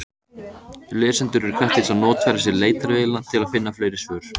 Lesendur eru hvattir til að notfæra sér leitarvélina til að finna fleiri svör.